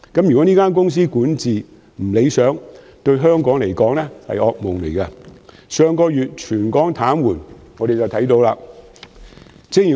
如果港鐵公司管治不理想，對香港而言會是噩夢，這從上月全港癱瘓可見一斑。